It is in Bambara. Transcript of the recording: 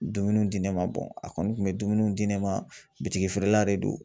Dumuniw di ne ma a kɔni kun bɛ dumuni di ne ma bitigi feerela de don.